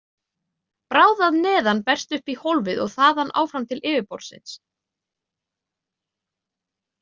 Bráð að neðan berst upp í hólfið, og þaðan áfram til yfirborðsins.